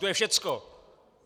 To je všecko!